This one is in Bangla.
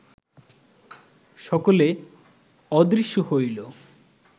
সকলে অদৃশ্য হইল